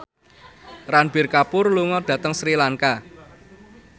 Ranbir Kapoor lunga dhateng Sri Lanka